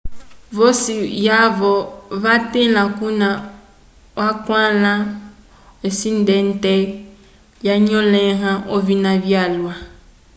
vosi yavo vatila kuna kwakala esindente lyanyolẽha ovina vyalwa